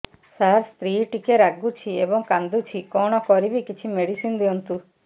ସାର ସ୍ତ୍ରୀ ଟିକେ ରାଗୁଛି ଏବଂ କାନ୍ଦୁଛି କଣ କରିବି କିଛି ମେଡିସିନ ଦିଅନ୍ତୁ